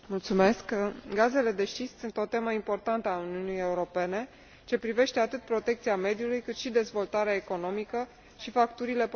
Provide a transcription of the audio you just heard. Gazele de șist sunt o temă importantă a Uniunii Europene, ce privește atât protecția mediului, cât și dezvoltarea economică și facturile populației.